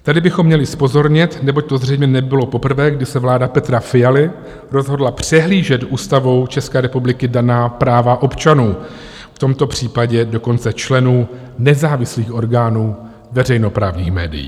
Tady bychom měli zpozornět, neboť to zřejmě nebylo poprvé, kdy se vláda Petra Fialy rozhodla přehlížet Ústavou České republiky daná práva občanů, v tomto případě dokonce členů nezávislých orgánů veřejnoprávních médií.